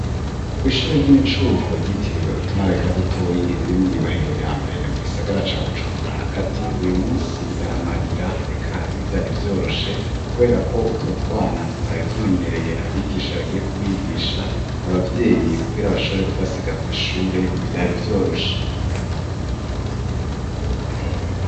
Kw'ishure ry'imicuko ryitiriwe utumara eka dutoyi riri mw'irohero ya mbere mu gisagara ca bujumbura hagati uyu musi yaramarira eka nivyari vyoroshe, kubera ko utwo twana tutari tumenyereye abigisha bagiye kubigisha abavyeyi kugira abashore kubasiga kw'ishure nivyari vyoroshe aziga.